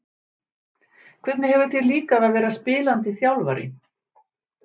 Hvernig hefur þér líkað að vera spilandi þjálfari?